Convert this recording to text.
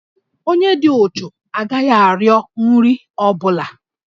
Onye dị uchu agaghị arịọ nri ọ bụla